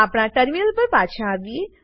આપણા ટર્મિનલ પર પાછા આવીએ